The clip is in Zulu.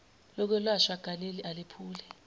lokwelashwa ganeli alephuli